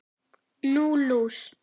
Nú, lús